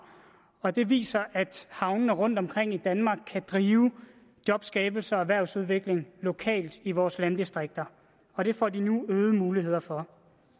og det viser at havnene rundtomkring i danmark kan drive jobskabelse og erhvervsudvikling lokalt i vores landdistrikter og det får de nu øgede muligheder for